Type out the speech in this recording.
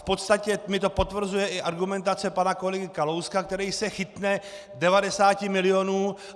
V podstatě mi to potvrzuje i argumentace pana kolegy Kalouska, který se chytne 90 milionů.